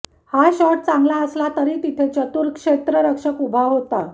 हा शॉट चांगला असला तरी तिथे चतूर क्षेत्ररक्षक उभा होता